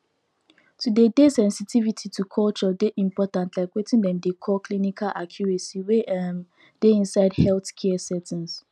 to dey dey sensitivity to culture dey important like weting dem dey call clinical accuracy wey um dey inside healthcare settings